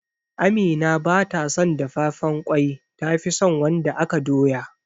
Amina ba ta son dafafen ƙwai ta fison wanda aka doya